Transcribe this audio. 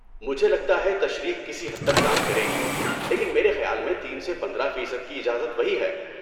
مجھے لگتا ہے تشریح کسی حد تک کام کرے گی، لیکن میرے خیال میں تین سے پندرہ فیصد کی اجازت وہی ہے